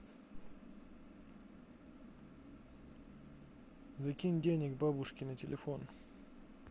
закинь денег бабушке на телефон